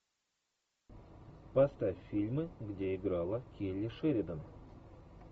поставь фильмы где играла келли шеридан